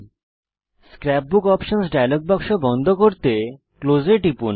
scrap বুক options dialog বাক্স বন্ধ করতে ক্লোজ এ টিপুন